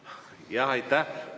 Jah, aitäh!